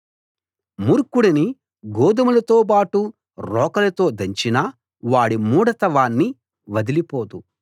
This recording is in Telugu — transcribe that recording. మూర్ఖుడిని గోదుమలలోబాటు రోకలితో దంచినా వాడి మూఢత వాణ్ణి వదలిపోదు